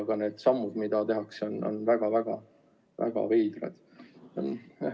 Aga need sammud, mida tehakse, on väga-väga-väga veidrad.